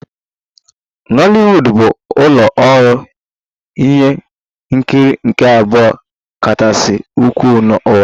Nollywood bụ ụlọ ọrụ ihe nkiri nke abụọ kachasị ukwuu n'ụwa